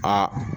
Aa